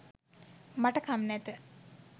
මට කම් නැත.